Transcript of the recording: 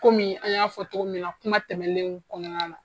Kɔmi an y'a fɔ cogo min na, kuma tɛmɛnenw kɔnɔna na.